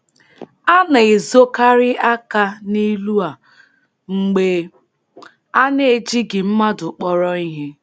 A na-ezokarị aka n’ilu a mgbe a na-ejighị mmadụ kpọrọ ihe.